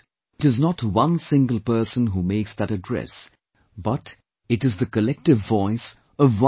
It is not one single person who makes that address, but it is the collective voice of 1